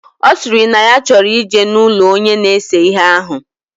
Osiri na ya choro ije na ulo Onye na-ese ihe ahu.